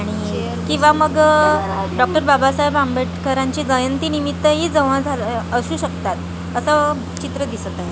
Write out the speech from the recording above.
किंवा मग अ डॉक्टर बाबासाहेब आंबेडकरांची जयंती निमित्तही जमा झालोय असू शकतात असं चित्र दिसत आहे.